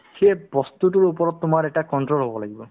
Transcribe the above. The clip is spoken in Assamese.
সেই বস্তুতোৰ ওপৰত তোমাৰ এটা control হ'ব লাগিব